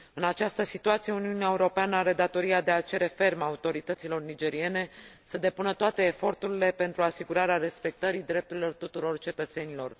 În această situație, Uniunea Europeană are datoria de a cere ferm autorităților nigeriene să depună toate eforturile pentru asigurarea respectării drepturilor tuturor cetățenilor.